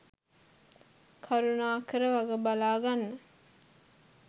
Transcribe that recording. කරුණාකර වග බලා ගන්න.